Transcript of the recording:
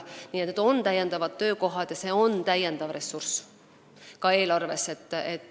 Nii et on täiendavad töökohad ja on ka lisaressurss eelarves.